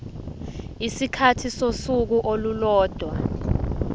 isikhathi sosuku olulodwa